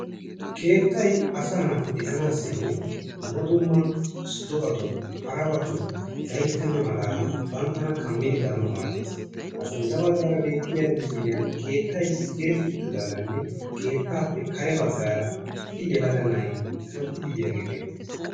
keettay asaa naati de'anaassinne dumma dumma do'atun harabatun gayttena maladan bantana kammidi daanawu maaddes ha sintta bagaara beettiyaa misiliyaan keettay diretti uttidaagaanne keettaape kare bagaara issi yelaga na'ay kanttidi biyaagee beettes.